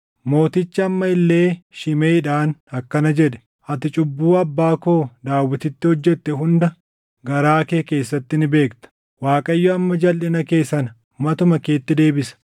Mootichi amma illee Shimeʼiidhaan akkana jedhe; “Ati cubbuu abbaa koo Daawititti hojjette hunda garaa kee keessatti ni beekta. Waaqayyo amma jalʼina kee sana matuma keetti deebisa.